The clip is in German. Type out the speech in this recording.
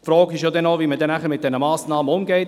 Die Frage ist noch, wie man mit dieser Massnahme umgeht.